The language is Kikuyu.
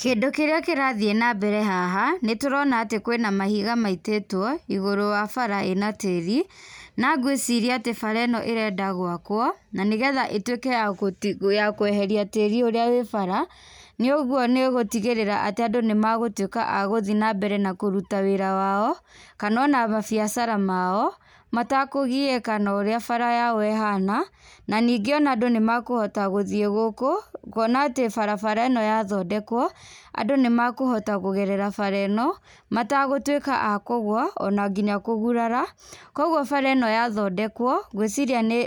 Kĩndũ kĩrĩa kĩrathiĩ nambere haha, nĩ tũrona atĩ kwĩna mahiga maitĩtũo igũrũ wa bara ĩna tĩĩri. Na ngwĩciria atĩ bara ĩno ĩrenda gwakũo na nĩgetha ĩtuĩke ya kweheria tĩĩri ũrĩa wĩ bara. Nĩ ũguo nĩ ĩgũtigĩrĩra atĩ andũ nĩ magũtuĩka a gũthiĩ na mbere na kũruta wĩra wao kana ona mabiacara mao matakũgiĩka na ũrĩa bara yao ĩhana. Na ningĩ ona andũ nĩ mekũhota gũthiĩ gũkũ kuona atĩ barabara ĩno yathondekũo andũ nĩ mekũhota kũgerera bara ĩno, matagũtuĩka a kũgwa ona nginya kũgurara. Kwoguo bara ĩno yathondekũo ngwĩciria nĩ